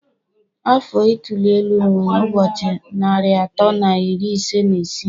Afọ ituli elu nwere ụbọchị narị atọ na iri ise na isii